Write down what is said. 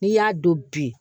N'i y'a don bi